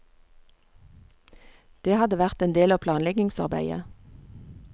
Det hadde vært en del av planleggingsarbeidet.